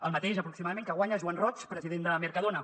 el mateix aproximadament que guanya joan roig president de mercadona